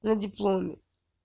на дипломе